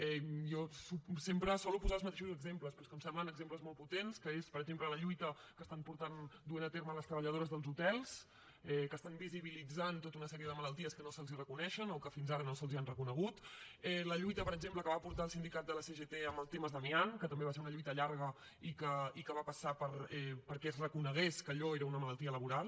jo sempre solc posar els mateixos exemples però és que em semblen exemples molt potents que són per exemple la lluita que estan duent a terme les treballadores dels hotels que estan visibilitzant tota una sèrie de malalties que no se’ls reconeixen o que fins ara no se’ls han reconegut la lluita per exemple que va portar el sindicat de la cgt amb el tema de l’amiant que també va ser una lluita llarga i que va passar perquè es reconegués que allò era una malaltia laboral